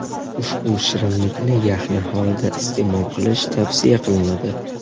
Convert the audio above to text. Ushbu shirinlikni yaxna holida iste’mol qilish tavsiya qilinadi.